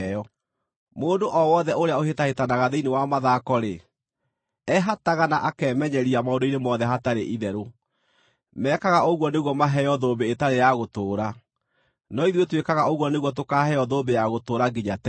Mũndũ o wothe ũrĩa ũhĩtahĩtanaga thĩinĩ wa mathako-rĩ, ehataga na akemenyeria maũndũ-inĩ mothe hatarĩ itherũ. Mekaga ũguo nĩguo maheo thũmbĩ ĩtarĩ ya gũtũũra; no ithuĩ twĩkaga ũguo nĩguo tũkaaheo thũmbĩ ya gũtũũra nginya tene.